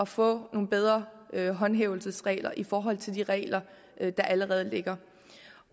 få nogle bedre håndhævelsesregler i forhold til de regler der allerede ligger